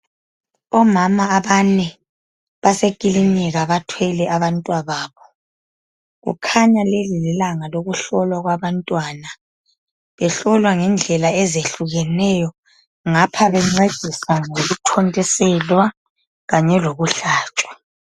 Omama abanye basekliniki bathwele abantwababo kukhanya leli lilanga lokuhlolwa kwabantwana behlolwa ngendlela ezitshiyeneyo ngapha bencediswa ngokuthontiselwa lokuhlatshwa